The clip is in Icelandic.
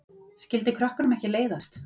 Skyldi krökkunum ekki leiðast?